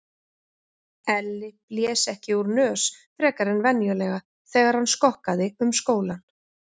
Elli blés ekki úr nös frekar en venjulega þegar hann skokkaði um skólann.